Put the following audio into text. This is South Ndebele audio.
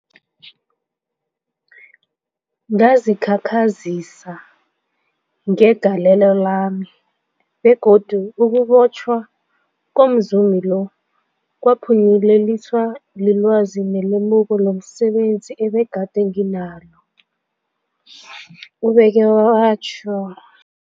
Ngazikhakhazisa ngegalelo lami, begodu ukubotjhwa komzumi lo kwaphunyeleliswa lilwazi nelemuko lomse benzi ebegade nginalo, ubeke watjho.